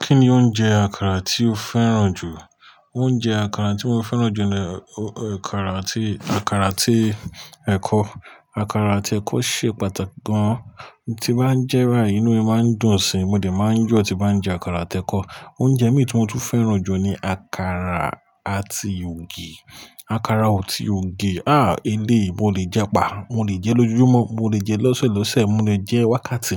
Kí ni oúnjẹ àkàrà tí o fẹ́ràn jù? Oúnjẹ àkàrà tí mo fẹ́ràn jù ni àkàrà àti, àkàrà àti ẹ̀kọ. Àkàrà àti ẹ̀kọ ṣe pàtàkì gan. Tí máa ń jẹ́ bàyi, inú mi máa ń dùn síi, mo dẹ̀ máa yọ́ tí bá ń jẹ àkàrà àti ẹ̀kọ. Oúnjẹ mí tí mo tún fẹ́ràn jù ni àkàrà àti ògì. Àkàrà àti ògì, ah elé, mo lè jẹ pá, mo lè jẹ lọ́júmọ́, mo lè jẹ lọ́sẹ̀lọ́sẹ̀, mo lè jẹ wákàtí,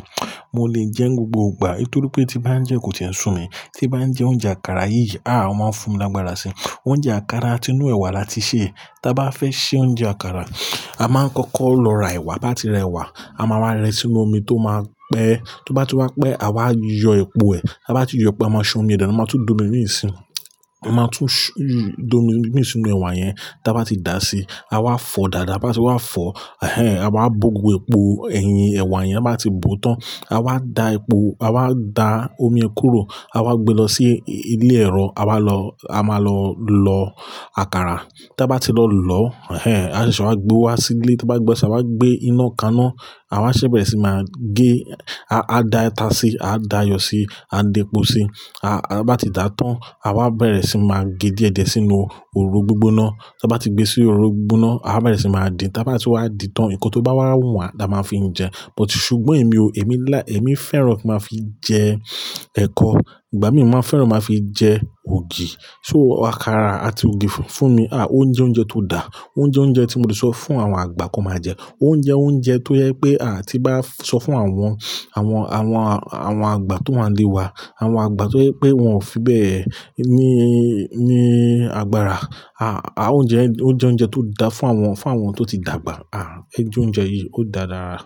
mo lè jẹ ní gbogbo ìgbà nítorí pé tí bá ń jẹ́ kò tíì ń sún mi. Tí bá ń jẹ oúnjẹ àkàrà yìí, ah ó máa ń fún mi lágbára si. Oúnjẹ àkàrà àti inú ẹ̀wà la ti ṣe. Tí a bá fẹ́ sè oúnjẹ àkàrà, a máa ń kọ́kọ́ lọ ra ẹ̀wà. Bá ti ra ẹ̀wà, a máa ra rẹ sínú omi tó máa pẹ́. Tó bá tú wá pẹ́, a wá yọ epo ẹ. Bá ti yọ pẹ́, a máa ṣan omi ẹ dánu, a máa tún dùn mí níìsín. A máa tún d'omi imí sinú ẹ̀wà yẹn. Bá ti dà si, a wá fọ dáadáa. Bá ti wá fọ, ehn, a wá bò gbogbo epo ẹ̀yìn ẹ̀wà yẹn. Bá ti bò tán, a wá da epo, a wá da omi kúrò, a wá gbé lọ sí ilé ẹ̀rọ, a wá lọ, a máa lọ lọ àkàrà. Tí a bá ti lọ lọ, ehn, àṣa ìṣe, a wá gbé wá sí ilé. Tí a bá gbé ṣe, a wá gbé inú kaná, a wá ṣèbẹ̀rẹ̀ sí máa gé. A dá ìtà síi, a dá iyọ̀ síi, a dá epo síi. A bá ti dà tán, a wá bẹ̀rẹ̀ sí máa gé díẹ̀díẹ̀ sínú òroro gbígbóná. Tí a bá ti gbé sí òroro gbígbóná, a bá bẹ̀rẹ̀ sí máa dìn. Tí a bá ti wá dì tán, ń kan tó bá wá wùnwa, la máa fi ń jẹ. But ṣùgbọ́n èmi o, èmi láì, èmi fẹ́ràn kí n máa fi jẹ ẹ̀kọ. Ìgbà mìí máa fẹ́ràn kí n máa fi jẹ ògì. So àkàrà àti ògì fún mi, ah oúnjẹ oúnjẹ tó dà. Oúnjẹ oúnjẹ tí mo ti sọ fún àwọn àgbà kan máa jẹ. Oúnjẹ oúnjẹ tó yẹ pé a tí bá sọ fún àwọn, àwọn, àwọn, àwọn àgbà tó wà nílé wa, àwọn àgbà tó jẹ pé wọn ò fi bẹ́ẹ̀ ní, ní agbára. Ah oúnjẹ oúnjẹ oúnjẹ tó dà fún àwọn, fún àwọn tó ti dàgbà. Ah ẹ jẹ oúnjẹ yìí, ó dà dára.